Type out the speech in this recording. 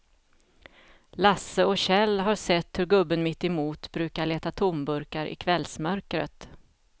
Lasse och Kjell har sett hur gubben mittemot brukar leta tomburkar i kvällsmörkret.